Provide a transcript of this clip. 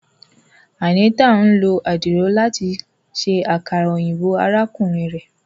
Anita n lo adiro lati ṣe akara oyinbo arakunrin rẹ.